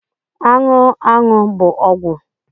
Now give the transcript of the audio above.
Anụ aṅụ bụ ọgwụ